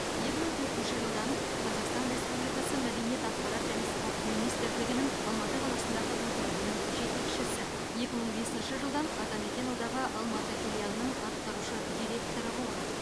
екі мың төртінші жылдан қазақстан республикасы мәдениет ақпарат және спорт министрлігінің алматы қаласындағы өкілдігінің жетекшісі екі мың бесінші жылдан атамекен одағы алматы филиалының атқарушы директоры болған